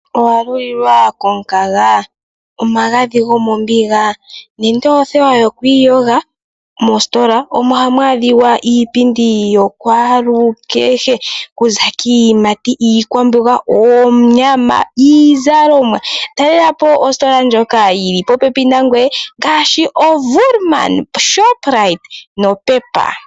Owalulilwa komukanga, omagadhi gomombinga nenge othewa yokwiiyoga moositola ohamu adhika iipindi yakwalukehe kuza kiiyimati, iikwambonga, oonyama niizalomwa talelapo oositola ndhoka dhili popepi nangweye ngaashi Woerman, Shoprite noPEP.